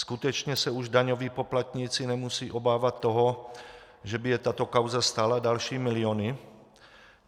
Skutečně se už daňoví poplatníci nemusí obávat toho, že by je tato kauza stála další miliony?